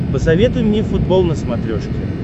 посоветуй мне футбол на смотрешке